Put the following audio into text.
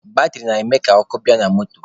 Batịrị na-eme ka ọkụ bịa na moto